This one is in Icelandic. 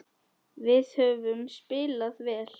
Við höfum spilað vel.